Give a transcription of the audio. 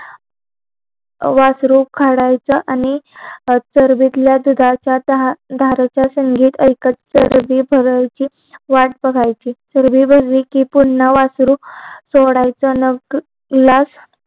वासरु काढायचा आणि चरबीतल्या दुधाच दहा धारेचा संगीत ऐकत चरबी भरायची वाट बघायची चरबी भरली कि पुन्हा वासरु सोडायचा